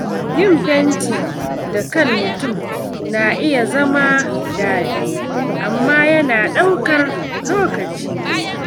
Yin fenti da kan mutum na iya zama daɗi, amma yana ɗaukar lokaci.